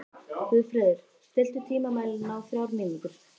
Guðfreður, stilltu tímamælinn á þrjár mínútur.